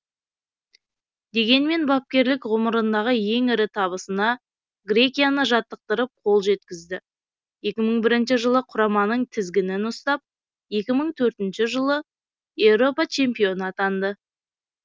дегенмен бапкерлік ғұмырындағы ең ірі табысына грекияны жаттықтырып қол жеткізді екі мың бірінші жылы құраманың тізгінін ұстап екі мың төртінші жылғы еуропа чемпионы атанды